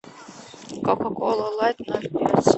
кока кола лайт ноль пять